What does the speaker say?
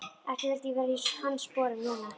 Ekki vildi ég vera í hans sporum núna.